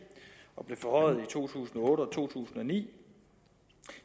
og blev forhøjet i to tusind og otte og to tusind og ni